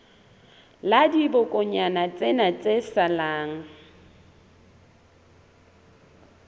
la dibokonyana tsena tse salang